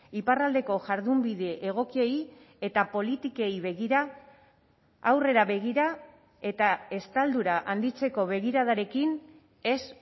iparraldeko jardunbide egokiei eta politikei begira aurrera begira eta estaldura handitzeko begiradarekin ez